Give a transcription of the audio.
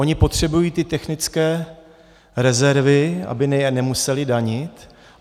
OnY potřebují ty technické rezervy, aby je nemusely danit.